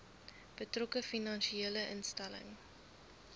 betrokke finansiële instelling